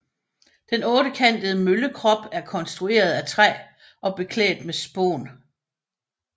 Den ottekantede møllekrop er konstrueret af træ og beklædt med spån